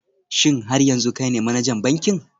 Shin har yanzu kai ne manajan bankin?